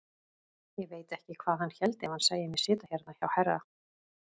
Ég veit ekki hvað hann héldi ef hann sæi mig sitja hérna hjá herra!